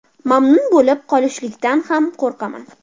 Mamnun bo‘lib qolishlikdan ham qo‘rqaman”.